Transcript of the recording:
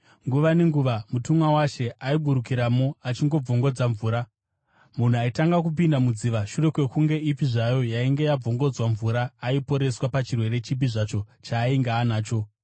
Nguva nenguva mutumwa waShe aiburukiramo achibvongodza mvura. Munhu aitanga kupinda mudziva shure kwenguva ipi zvayo yainge yabvongodzwa mvura aiporeswa pachirwere chipi zvacho chaainge anacho.